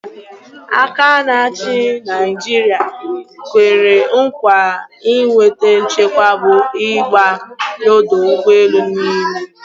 Aka na-achi Naijiri kwere nkwa iweta nchekwa bụ ịgba n'ọdọ ụgbọelu niile.